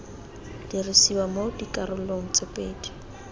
dirisiwa mo dikarolong tse pedi